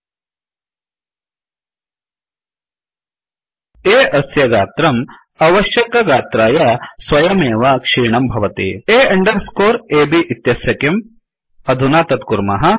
A अस्य गात्रम् अवश्यकगात्राय स्वयमेव क्षीणं भवति A अण्डर् स्कोर् अब् इत्यस्य किम् अधुना तत् कुर्मः